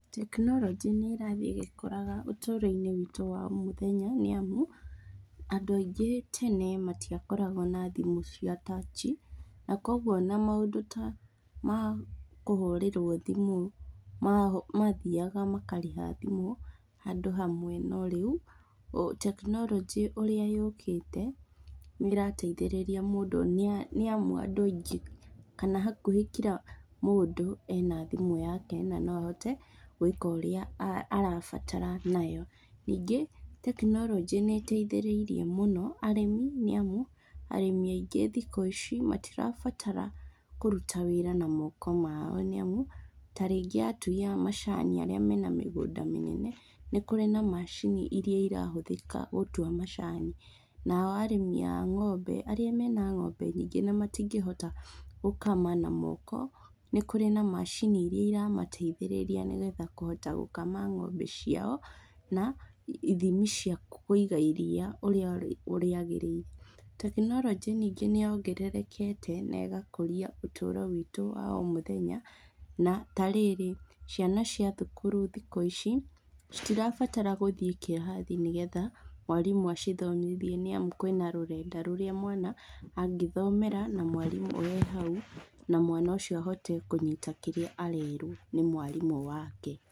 Tekinoronjĩ nĩĩrathiĩ ĩgĩkũraga ũtũro-inĩ witũ wa o mũthenya nĩamu, andũ aingĩ tene matiakoragwo na thimũ cia tachi, na kuoguo ona maũndũ ta ma kũhũrĩrwo thimũ, mathiaga makarĩha thimũ handũ hamwe no rĩu, tekinoronjĩ ũrĩa yũkĩte nĩĩrateithĩrĩria mũndũ nĩamu andũ aingĩ kana hakuhĩ kira mũndũ ena thimũ yake na no ahote gwĩka ũrĩa arabatara nayo. Ningĩ tekinoronjĩ nĩĩteithĩrĩirie mũno arĩmi nĩamu, arĩmi aingĩ thikũ ici matirabatara kũruta wĩra na moko mao nĩamu, ta rĩngĩ atui a macani arĩa mena mĩngũnda mĩnene, nĩ kũrĩ na macini iria irahũthĩka gũtua macani. Nao arĩmi a ng'ombe arĩa mena ng'ombe nyingĩ na matingĩhota gũkama na moko, nĩ kũrĩ na macini iria iramateithĩrĩria nĩgetha kũhota gũkama ng'ombe ciao na ithimi cia kũiga iria ũrĩa rĩagĩrĩire. Tekinoronjĩ ningĩ nĩyongererekete na ĩgakũria ũtũro witũ wa o mũthenya, na, tarĩrĩ, ciana cia thukuru thikũ ici citirabatara gũthiĩ kĩrathi nĩgetha mwarimũ acithomithie nĩamu kwĩna rũrenda rũrĩa mwana angĩthomera na mwarimũ e hau, na mwana ũcio ahote kũnyita kĩrĩa arerwo nĩ mwarimũ wake.